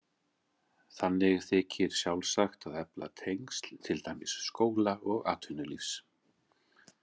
Þannig þykir sjálfsagt að efla tengsl til dæmis skóla og atvinnulífs.